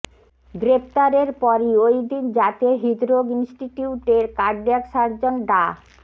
গ্রেপ্তারের পরই ওইদিন জাতীয় হৃদরোগ ইনস্টিটিউটের কার্ডিয়াক সার্জন ডা